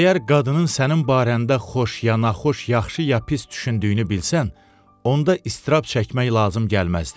Əgər qadının sənin barəndə xoş ya naxoş, yaxşı ya pis düşündüyünü bilsən, onda istirab çəkmək lazım gəlməzdi.